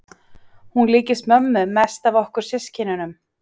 Hún líkist mömmu mest af okkur systkinunum.